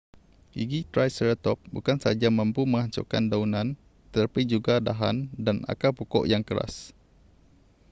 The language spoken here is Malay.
gigi triceratop bukan sahaja mampu menghancurkan daunan tetapi juga dahan dan akar pokok yang keras